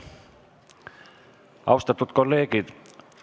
Austatud kolleegid!